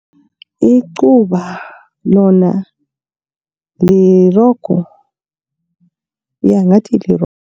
Icuba lona lirogo ja ngathi lirogo.